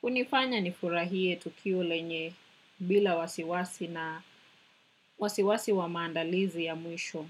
kunifanya nifurahie tukio lenye bila wasiwasi na wasiwasi wa maandalizi ya mwisho.